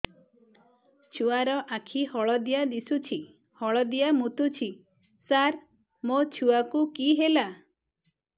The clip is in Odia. ଛୁଆ ର ଆଖି ହଳଦିଆ ଦିଶୁଛି ହଳଦିଆ ମୁତୁଛି ସାର ମୋ ଛୁଆକୁ କି ହେଲା